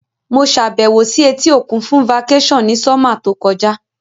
Mo sàbẹ̀wò si etí òkun fun vacation ni summer to kojá